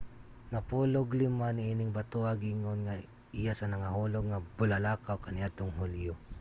napulog-lima niining batoha giingon nga iya sa nangahulog nga bulalakaw kaniadtong hulyo